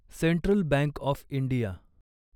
central bank of India